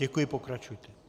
Děkuji, pokračujte.